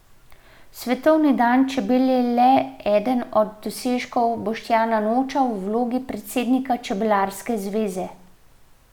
Svetovni dan čebel je le eden od dosežkov Boštjana Noča v vlogi predsednika Čebelarske zveze.